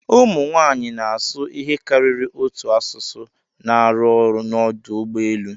Ụmụ nwanyị na-asụ ihe karịrị otu asụsụ na-arụ ọrụ n'ọdụ ụgbọ elu.